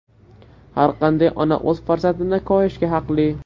Har qanday ona o‘z farzandini koyishga haqli.